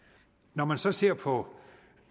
når man så ser på